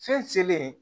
Fɛn selen